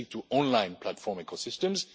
specific to online platform ecosystems